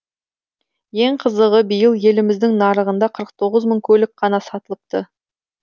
ең қызығы биыл еліміздің нарығында қырық тоғыз мың көлік қана сатылыпты